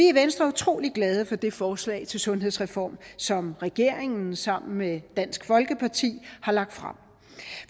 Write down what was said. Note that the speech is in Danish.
i venstre utrolig glade for det forslag til sundhedsreform som regeringen sammen med dansk folkeparti har lagt frem